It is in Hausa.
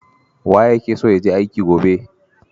Waye yake son ya je aiki gobe?